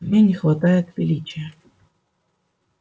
в ней не хватает величия